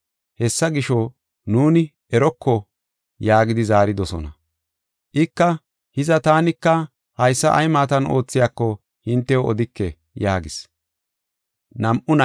Hessa gisho, “Nuuni eroko” yaagidi zaaridosona. Ika, “Hiza, taanika haysa ay maatan oothiyako hintew odike” yaagis.